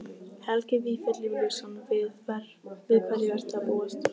Helgi Vífill Júlíusson: Við hverju ertu að búast?